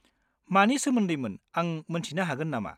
मानि सोमोन्दैमोन आं मोन्थिनो हागोन नामा?